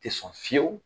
Tɛ sɔn fiyewu